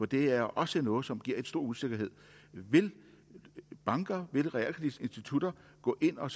det er også noget som giver stor usikkerhed vil banker vil realkreditinstitutter gå ind og